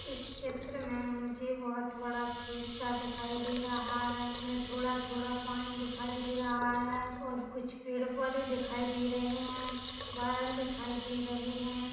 इस चित्र में मुझे बहुत बड़ा खेत सा दिखाई दे रहा है इसमें थोड़ा - थोड़ा पानी दिखाई दे रहा है और कुछ पेड़ - पौधे दिखाई दे रहे हैं बादल दिखाई दे रहे हैं।